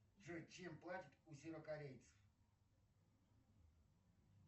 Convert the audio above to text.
джой чем платят у северокорейцев